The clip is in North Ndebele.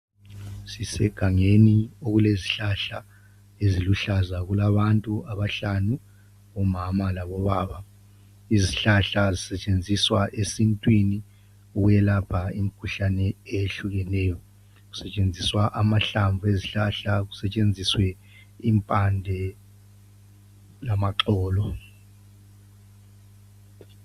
Sisegangeni okulezihlahla eziluhlaza. Kulabantu abahlanu, umama, labobaba. Izihlahla zisetshenziswa esintwini, ukwelapha imikhuhlane eyehlukeneyo. Kusetshenziswa amahlamvu ezihlahla. Kusetshenziswe impande lamaxolo.